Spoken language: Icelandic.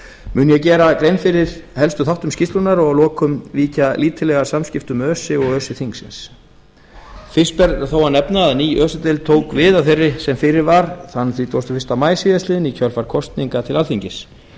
mun ég gera grein fyrir helstu þáttum skýrslunnar og að lokum víkja lítillega að samskiptum öse og öse þingsins fyrst ber þó að nefna að ný öse deild tók við að þeirri sem fyrir var þann þrítugasta og fyrsta maí síðastliðinn í kjölfar kosninga til alþingis